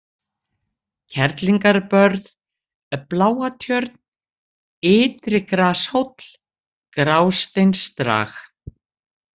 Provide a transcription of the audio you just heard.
Kerlingarbörð, Bláatjörn, Ytri-Grashóll, Grásteinsdrag